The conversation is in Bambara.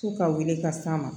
F'u ka wele ka s'a ma